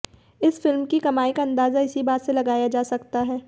इस फिल्म की कमाई का अंदाजा इसी बात से लगाया जा सकता है